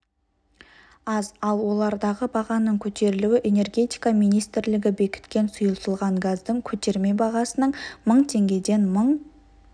аз ал олардағы бағаның көтерілуі энергитика министрлігі бекіткен сұйытылған газдың көтерме бағасының мың теңгеден мың